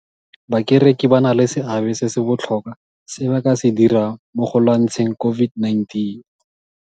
Bakereki ba na le seabe se se botlhokwa se ba ka se dirang mo go lwantsheng COVID-19.